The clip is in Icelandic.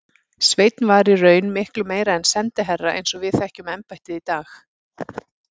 Sveinn var í raun miklu meira en sendiherra eins og við þekkjum embættið í dag.